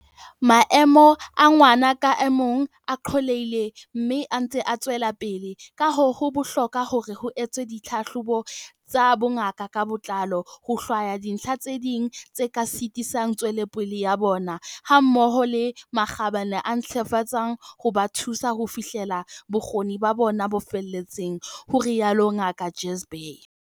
"Maemo a ngwana ka mong a qollehile mme a ntse a tswelapele, kahoo ho bohlokwa hore ho etswe dithlahlobo tsa bongaka ka botlalo ho hlwaya dintlha tse ding tse ka sitisang tswelopele ya bona, hammoho le makgabane a ka ntlafatswang ho ba thusa ho fihlella bokgoni ba bona bo feletseng," ho rialo Ngaka Jhazbhay.